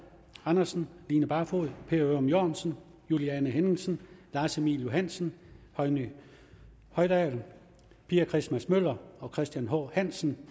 andersen line barfod per ørum jørgensen juliane henningsen lars emil johansen høgni hoydal pia christmas møller og christian h hansen